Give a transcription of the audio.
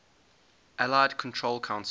allied control council